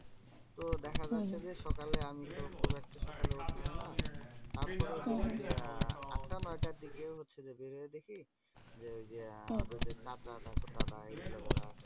তো দেখা যাচ্ছে যে, সকালে আমি তো খুব একটা সকালে ওঠা হয়না? তারপরে দেখি যে, আহ আটটা নয়টার দিকে হচ্ছে যে বের হয়ে দেখি যে আমাদের আহ যে চাচা তারপর দাদা এগুলো যারা আছে